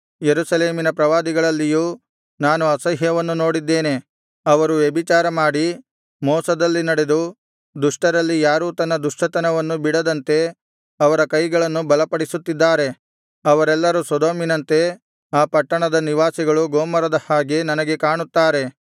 ಯೆರೂಸಲೇಮಿನ ಪ್ರವಾದಿಗಳಲ್ಲಿಯೂ ನಾನು ಅಸಹ್ಯವನ್ನು ನೋಡಿದ್ದೇನೆ ಅವರು ವ್ಯಭಿಚಾರಮಾಡಿ ಮೋಸದಲ್ಲಿ ನಡೆದು ದುಷ್ಟರಲ್ಲಿ ಯಾರೂ ತನ್ನ ದುಷ್ಟತನವನ್ನು ಬಿಡದಂತೆ ಅವರ ಕೈಗಳನ್ನು ಬಲಪಡಿಸುತ್ತಿದ್ದಾರೆ ಅವರೆಲ್ಲರು ಸೊದೋಮಿನಂತೆ ಆ ಪಟ್ಟಣದ ನಿವಾಸಿಗಳು ಗೊಮೋರದ ಹಾಗೆ ನನಗೆ ಕಾಣುತ್ತಾರೆ